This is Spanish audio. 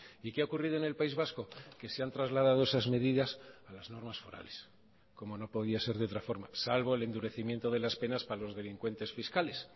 y qué ha ocurrido en el país vasco que se han trasladado esas medidas a las normas forales como no podía ser de otra forma salvo el endurecimiento de las penas para los delincuentes fiscales